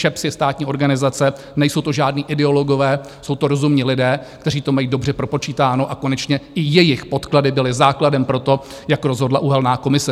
ČEPS je státní organizace, nejsou to žádní ideologové, jsou to rozumní lidé, kteří to mají dobře propočítáno, a konečně i jejich podklady byly základem pro to, jak rozhodla uhelná komise.